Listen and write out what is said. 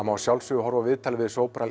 má að sjálfsögðu horfa á viðtalið við